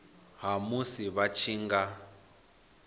ha musi vha tshi nga